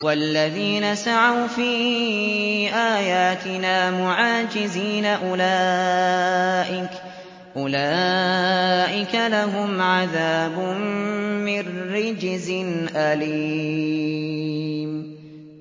وَالَّذِينَ سَعَوْا فِي آيَاتِنَا مُعَاجِزِينَ أُولَٰئِكَ لَهُمْ عَذَابٌ مِّن رِّجْزٍ أَلِيمٌ